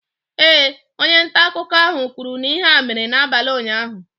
Ee, onye nta akụkọ ahụ kwuru na ihe a mere n'abalị ụnyahụ.